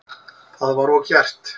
Það var og gert.